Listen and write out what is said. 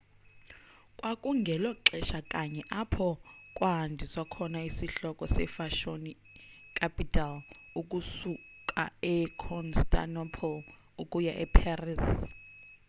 kwakungelo xesha kanye apho kwahanjiswa khona isihloko sefashoni capital ukusuka econstantinople ukuya eparis